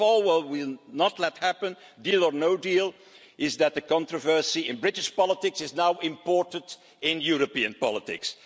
First of all, what we will not let happen, deal or no deal, is that the controversy in British politics is now imported into European politics.